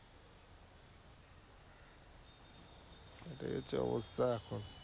এই হচ্ছে অবস্থা।